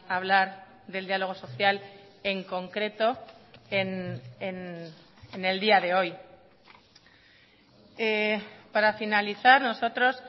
hablar del diálogo social en concreto en el día de hoy para finalizar nosotros